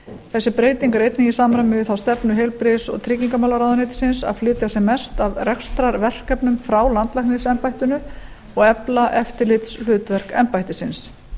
þessi breyting er einnig í samræmi við þá stefnu heilbrigðis og tryggingamálaráðuneytisins að flytja sem mest af rekstrarverkefnum frá landlæknisembættinu og efla eftirlitshlutverk embættisins